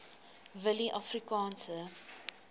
willieafrikaanse